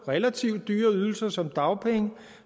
relativt dyre ydelser som dagpenge